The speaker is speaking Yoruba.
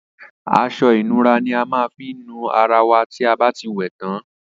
Asọ ìnura ni a má n fi nu ara wa tí abá ti wè tán